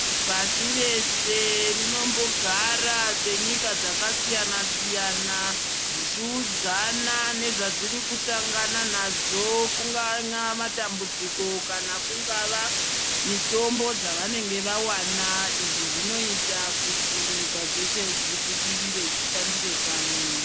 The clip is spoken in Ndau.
Pasi rese rinombogara senyika dzakasiyana siyana dzichiudzana nezvadziri kusangana nadzo kungava matambudziko kana kungava mitombo dzavanenge vawana izvi zvinoita kuti nyika dzeshe dzibudirire dzishandire pamwe.